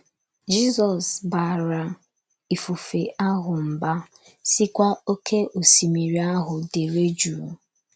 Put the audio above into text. Jizọs “ baara ifufe ahụ mbá, sịkwa oké osimiri ahụ: dereduu!.